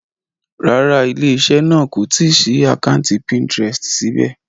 Rárá, ilé-iṣẹ́ náà kò tí ì ṣí àkátì Pinterest síbẹ̀.